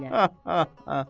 Ah ah ah.